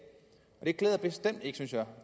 det klæder bestemt ikke synes jeg